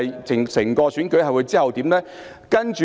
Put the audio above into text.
整個選舉有何後續發展呢？